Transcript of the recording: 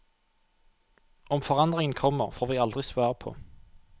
Om forandringen kommer, får vi aldri svar på.